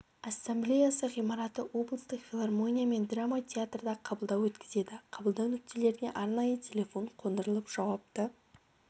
ассамблеясы ғимараты облыстық филармония мен драма театрда қабылдау өткізеді қабылдау нүктелеріне арнайы телефон қондырылып жауапты